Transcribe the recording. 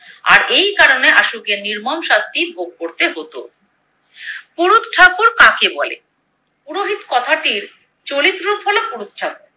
আর এই কারণে আশুকে নির্মম শাস্তি ভোগ করতে হতো। পুরুৎ ঠাকুর কাকে বলে? পুরোহিত কথাটির চরিত্রফলক পুরুৎ ঠাকুর।